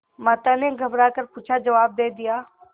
माता ने घबरा कर पूछाजवाब दे दिया